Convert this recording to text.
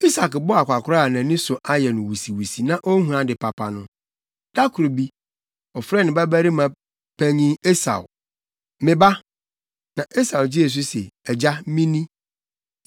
Isak bɔɔ akwakoraa a nʼani so ayɛ no wusiwusi na onhu ade papa no, da koro bi, ɔfrɛɛ ne babarima panyin Esau. “Me ba.” Na Esau gyee so se, “Agya, mini.”